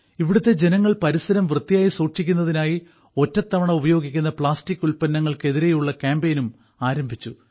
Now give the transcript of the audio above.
ഇവിടുത്തെ ജനങ്ങൾ പരിസരം വൃത്തിയായി സൂക്ഷിക്കുന്നതിനായി ഒറ്റത്തവണ ഉപയോഗിക്കുന്ന പ്ലാസ്റ്റിക് ഉൽപന്നങ്ങൾക്കെതിരെയുള്ള കാമ്പയിനും ആരംഭിച്ചു